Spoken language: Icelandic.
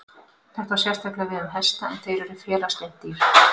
Þetta á sérstaklega við um hesta en þeir eru félagslynd dýr.